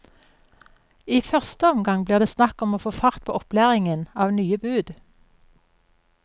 I første omgang blir det snakk om å få fart på opplæringen av nye bud.